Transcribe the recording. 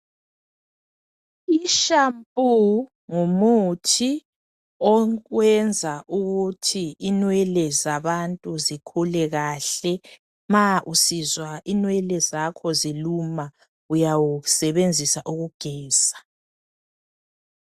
Ishampu ngumuthi owenza ukuthi inwele zabantu zikhule kahle. Ma usizwa inwele zakho ziluma, uyawusebenzisa ukugeza.